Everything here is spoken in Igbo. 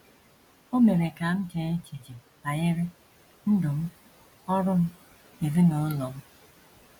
O mere ka m chee echiche banyere ndụ m, ọrụ m, ezinụlọ m.